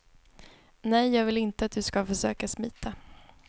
Nej, jag vill inte att du ska försöka smita.